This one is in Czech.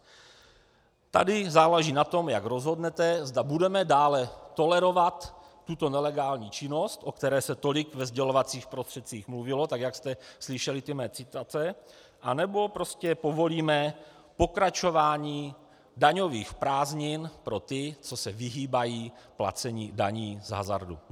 Tady záleží na tom, jak rozhodnete, zda budeme dále tolerovat tuto nelegální činnost, o které se tolik ve sdělovacích prostředcích mluvilo, tak jak jste slyšeli ty mé citace, anebo prostě povolíme pokračování daňových prázdnin pro ty, co se vyhýbají placení daní z hazardu.